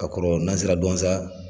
Ka kɔrɔ nan sera duwanza